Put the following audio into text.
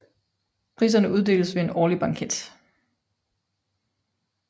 Priserne uddeles ved en årlig banket